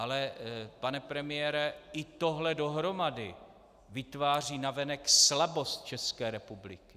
Ale pane premiére, i tohle dohromady vytváří navenek slabost České republiky.